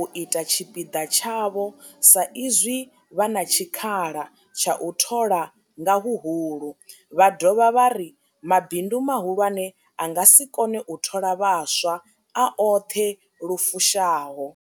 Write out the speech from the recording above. u ita tshipiḓa tshavho sa izwi vha na tshikhala tsha u thola nga huhulu, vha dovha vha ri mabindu mahulwane a nga si kone u thola vhaswa a oṱhe lu fushaho.